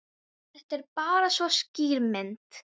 Kirsten, hvað geturðu sagt mér um veðrið?